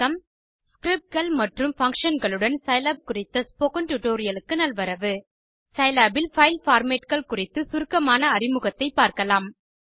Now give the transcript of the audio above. Scriptகள் மற்றும் Functionகளுடன் சிலாப் குறித்த ஸ்போக்கன் டியூட்டோரியல் க்கு நல்வரவு சிலாப் இல் பைல் formatகள் குறித்த சுருக்கமான அறிமுகத்தை பார்க்கலாம்